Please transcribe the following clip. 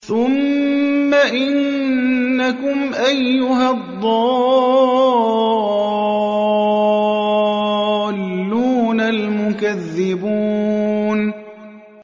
ثُمَّ إِنَّكُمْ أَيُّهَا الضَّالُّونَ الْمُكَذِّبُونَ